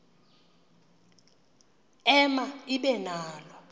ema ibe nalo